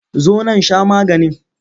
Zo nan sha maganin!